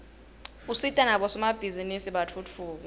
usita nabosomabhizinisi batfutfuke